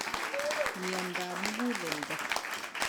Miondap muguleldo